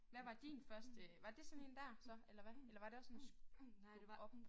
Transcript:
Hvad var din første var det sådan én dér så eller hvad eller var det også en skub op